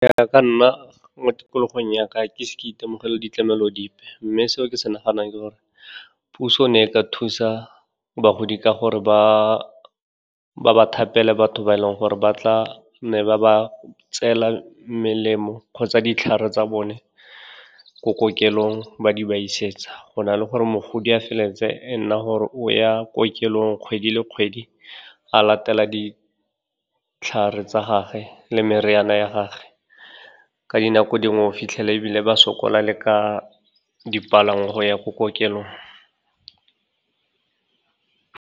Ya ka nna, mo tikologong ya ka, ga ke ise ke itemogele ditlamelo dipe, mme seo ke se naganang ke gore, puso e ne e ka thusa bagodi ka gore ba ba thapele batho ba e le goreng ba tla ne ba ba tseela melemo kgotsa ditlhare tsa bone ko kokelong, ba di ba isetsa. Go na le gore mogodi a feleletse e nna gore o ya kokelong kgwedi le kgwedi, a latela ditlhare tsa gage le meriana ya gage, ka dinako dingwe o fitlhela ebile ba sokola le ka dipalangwa go ya ko kokelong.